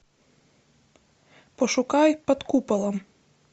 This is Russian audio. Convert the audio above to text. пошукай под куполом